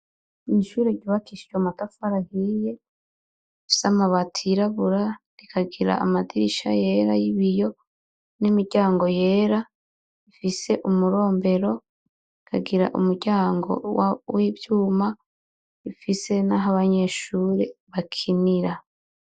Ishure ryubakishijwe amatafari ahiye rifise amabati yirabura rikagira amadirisha yera yibiyo nimiryango yera bifise umurombero ukagira umuryango wivyuma ufise naho abanyeshure bakinira